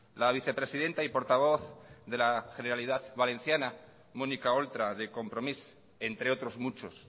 la vicepresidenta y portavoz de la generalitat valenciana mónica oltra de compromís entre otros muchos